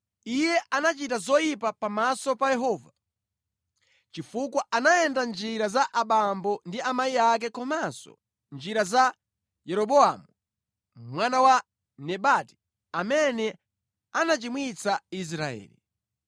Iye anachita zoyipa pamaso pa Yehova, chifukwa anayenda mʼnjira za abambo ndi amayi ake komanso mʼnjira za Yeroboamu mwana wa Nebati, amene anachimwitsa Israeli.